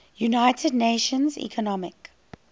united nations economic